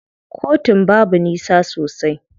Kotun babu nisa sosai.